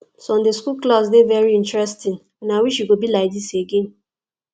sunday school class dey very interesting and i wish e go be like dis again